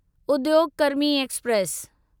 उद्योग कर्मी एक्सप्रेस